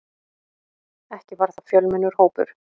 Ekki var það fjölmennur hópur.